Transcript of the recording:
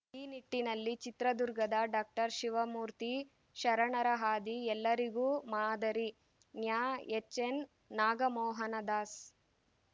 ಈ ನಿಟ್ಟಿನಲ್ಲಿ ಚಿತ್ರದುರ್ಗದ ಡಾಕ್ಟರ್ ಶಿವಮೂರ್ತಿ ಶರಣರ ಹಾದಿ ಎಲ್ಲರಿಗೂ ಮಾದರಿ ನ್ಯಾಎಚ್‌ಎನ್‌ನಾಗಮೋಹನ ದಾಸ್‌